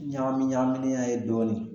Ɲagami ɲagaminenya ye dɔɔnin